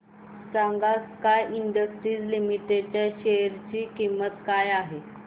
सांगा sky industries limited च्या share ची किंमत काय आहे